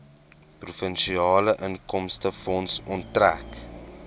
provinsiale inkomstefonds onttrek